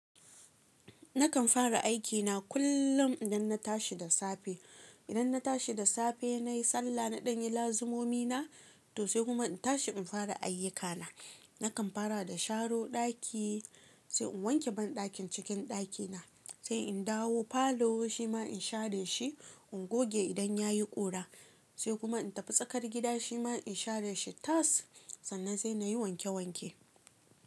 Nakan fara aikina kullum idan na tashi da safe. Idan na tashi da safe nayi sallah na ɗan yi lazumomi na to sai kuma in tashi in fara ayyukana. Nakan fara da sharo ɗaki sai in wanke banɗakin cikin ɗakina sai in dawo falo shi ma in share shi, in goge idan yayi ƙura sai kuma in tafi tsakar gida shi ma in share shi tas sannan sai nayi wanke wanke.